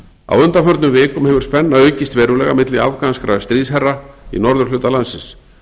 á undanförnum vikum hefur spenna aukist verulega milli afganskra stríðsherra í norðurhluta landsins